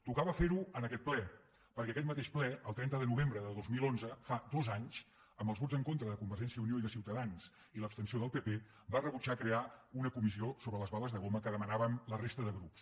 tocava fer ho en aquest ple perquè aquest mateix ple el trenta de novembre de dos mil onze fa dos anys amb els vots en contra de convergència i unió i de ciutadans i l’abstenció del pp va rebutjar crear una comissió sobre les bales de goma que demanàvem la resta de grups